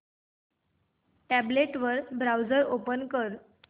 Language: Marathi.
टॅब्लेट वर ब्राऊझर ओपन कर